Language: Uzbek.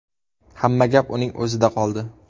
Hamma gap uning o‘zida qoldi.